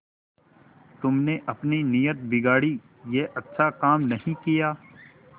तुमने अपनी नीयत बिगाड़ी यह अच्छा काम नहीं किया